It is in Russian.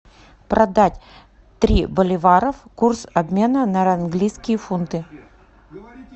продать три боливаров курс обмена на английские фунты